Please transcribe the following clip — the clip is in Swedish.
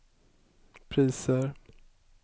priser